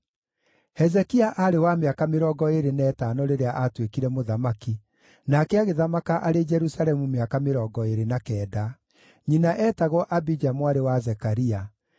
Hezekia aarĩ wa mĩaka mĩrongo ĩĩrĩ na ĩtano rĩrĩa aatuĩkire mũthamaki, nake agĩthamaka arĩ Jerusalemu mĩaka mĩrongo ĩĩrĩ na kenda. Nyina eetagwo Abija mwarĩ wa Zekaria.